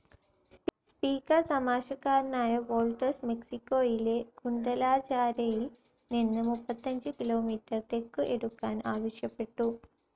Speaker തമാശക്കാരനായ Walters, മെക്സിക്കോയിലെ ഗുഡലാജാരയിൽ നിന്ന് മുപ്പത്തിയഞ്ചു കിലോമീറ്റർ തെക്കു എടുക്കാൻ ആവശ്യപ്പെട്ടു.